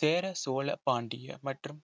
சேர சோழ பாண்டிய மற்றும்